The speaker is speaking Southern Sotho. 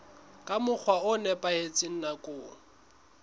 ka mokgwa o nepahetseng nakong